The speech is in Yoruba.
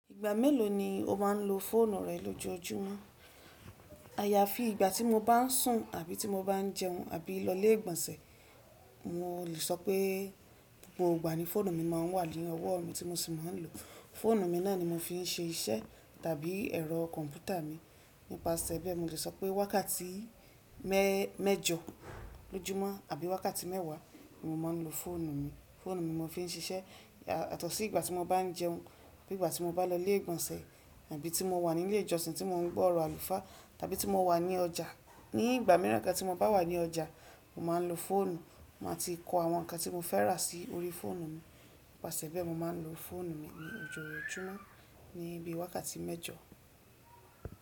Ìgbà mélòó ni o má n lo fóònù rẹ lójoójúmọ́? Ayàfi ìgbà tì mo bá n sùn tàbí ti mo bá n jẹun àbí lọ ilé ìgbọ̀nsẹ̀, mo lè sọ pé gbogbo ìgbà ni fónù mi ma n wà ní ọwọ́ mi tí mo sì ma n lo. Fóònù mi náà ni mo fi n se iṣẹ́ tàbí ẹrọ kọ̀npútà mi. Nipaseẹ̀ bẹ́ẹ̀, mo lè sọ pé wákàtí méjọ lójúmọ́ àbí wákàtí mẹ́wàá ni mo ma n lo fóònù mi. Fóònù mi mo fi n ṣiṣẹ́, yàtọ̀ sí ìgbà tí mo bá n jẹun àbí ìgbà tí mo bá lọ ilé ìgbọ̀nsẹ̀ tàbí tí mo wà nílé ìjọsìn tí mo n gbọ́ ọ̀rọ̀ àlùfáà tàbí tí mo wà ní ọjà. Ní ìgbà mìíràn kan tí mo bá wà ní ọjà, mo má a n lo fóònù, mà á ti kó àwọn nǹkan tí mo fẹ́ rà sí orí fóònù mi. Nipaseẹ̀ bẹ́ẹ̀, mo má n lo fóònù mi lójoójúmọ́ ní bí i wákàtí méjọ.